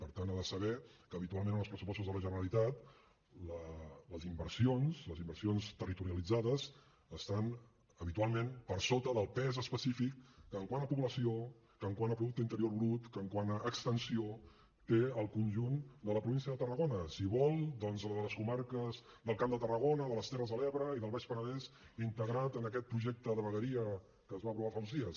per tant ha de saber que habitualment en els pressupostos de la generalitat les inversions les inversions territorialitzades estan habitualment per sota del pes específic que quant a població que quant a producte interior brut que quant a extensió té el conjunt de la província de tarragona si vol doncs de les comarques del camp de tarragona de les terres de l’ebre i del baix penedès integrat en aquest projecte de vegueria que es va aprovar fa uns dies